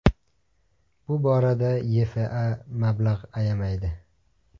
Bu borada YFA mablag‘ ayamaydi .